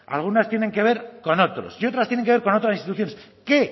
algunas tienen que ver con otros y otras tienen que ver con otras instituciones qué